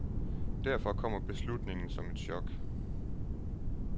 Derfor kommer beslutningen som et chok.